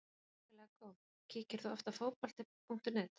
Hrikalega góð Kíkir þú oft á Fótbolti.net?